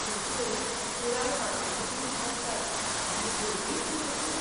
पूण त्यो पुराय वातानुकूलित आसतात आनी गर्दीय उणी आसता.